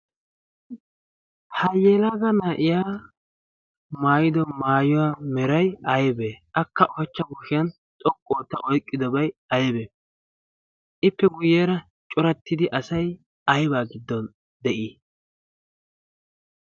ha yeelaga naa7iya maayido maayuwaa merai aibee? akka ushachcha kushiyan xoqqu ootta oiqqidobai aibee? ippe guyyeera corattidi asai aibaa giddon de7ii?